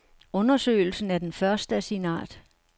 Undersøgelsen er den første af sin art.